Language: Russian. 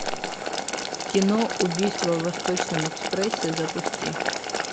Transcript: кино убийство в восточном экспрессе запусти